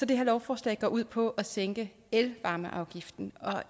det her lovforslag ud på at sænke elvarmeafgiften og